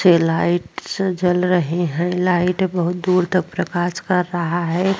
छ लाइट से जल रहीं हैं। लाइट बहुत दूर तक प्रकाश कर रहा है।